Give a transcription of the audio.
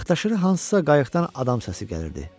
Bax daşırı hansısa qayıqdan adam səsi gəlirdi.